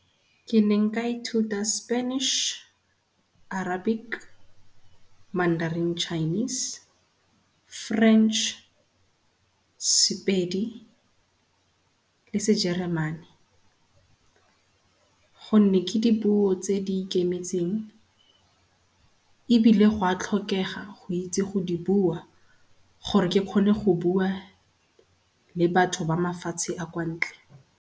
Ke neng ka i thuta Spanish, Arabic, Manderin Chinese, French, Sepedi le Sejeremane, gonne ke dipuo tse di ikemetseng ebile gwa tlhokega go itse go di bua gore ke kgone go bua le batho ba mafatshe a kwa ntle.